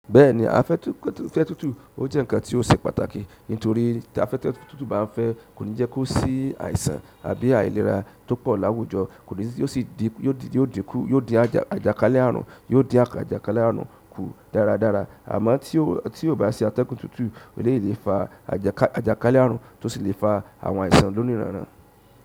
Bẹ́ẹ̀ni, afẹ́tu fẹ́tu fẹ tútù ó jẹ́ ǹkan tí ó ṣe pàtàkì nítorí ta afẹ́fẹ́ tútù bá ń fẹ́ kò ní jẹ́ kó sí àìsàn àbí àìlera tó pọ̀ láwùjọ, kò ní sì o si yo di n ku yóò dín àjàkálẹ̀ àrùn yò di n akaja. Àjàkálẹ̀ àrùn kù dáradára. Àmọ́ tí ó bá ṣe atẹ́gùn tútù, e lè lè fa àjàkálẹ̀ àrùn tó sì lè fa àwọn àìsàn lónìí ránrán.